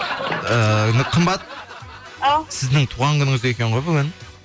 ііі қымбат сіздің туған күніңіз екен ғой бүгін